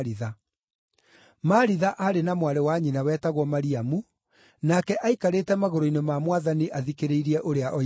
Maritha aarĩ na mwarĩ wa nyina wetagwo Mariamu, nake aikarĩte magũrũ-inĩ ma Mwathani athikĩrĩirie ũrĩa oigaga.